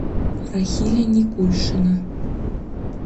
рахиля никульшина